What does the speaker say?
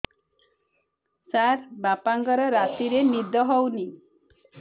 ସାର ବାପାଙ୍କର ରାତିରେ ନିଦ ହଉନି